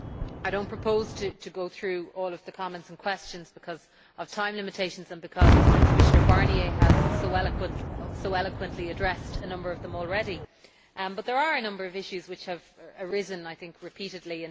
I do not propose to go through all of the comments and questions because of time limitations and because Commissioner Barnier has so eloquently addressed a number of them already, but there are a number of issues which have arisen repeatedly.